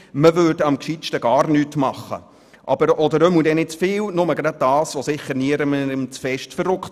Demzufolge sei am besten gar nichts zu tun oder wenn, dann nicht zu viel, sondern nur das, was niemanden zu sehr verärgert.